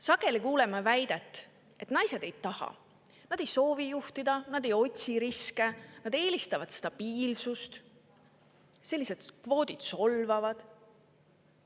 Sageli kuuleme väiteid, et naised ei taha, nad ei soovi juhtida; nad ei otsi riske, vaid eelistavad stabiilsust; sellised kvoodid on solvavad.